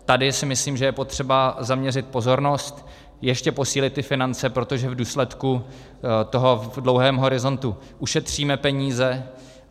Tady si myslím, že je potřeba zaměřit pozornost, ještě posílit ty finance, protože v důsledku toho v dlouhém horizontu ušetříme peníze.